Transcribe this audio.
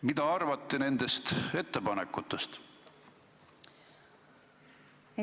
Mida te arvate nendest ettepanekutest?